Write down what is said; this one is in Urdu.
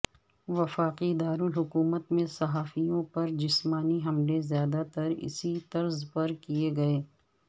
وفاقی دارالحکومت میں صحافیوں پر جسمانی حملے زیادہ تر اسی طرز پر کیے گئے